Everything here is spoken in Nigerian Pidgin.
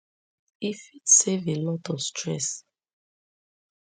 e fit save a lot of stress